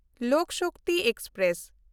Lok Shakti express